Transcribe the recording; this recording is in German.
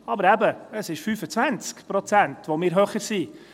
Aber eben, es sind 25 Prozent, die wir höher sind.